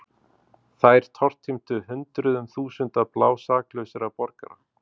Þær tortímdu hundruðum þúsunda blásaklausra borgara.